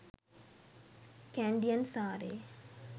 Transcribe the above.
kandyan saree